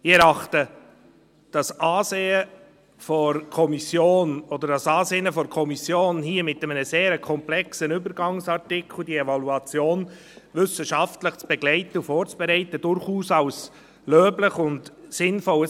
Ich erachte das Ansinnen der Kommission, diese Evaluation wissenschaftlich zu begleiten und vorzubereiten, hier mit einem sehr komplexen Übergangsartikel, durchaus als löblich und sinnvoll.